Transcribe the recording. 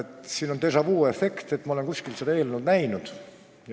Täna on siin tunda déjà-vu efekti: ma olen kuskil seda eelnõu juba näinud.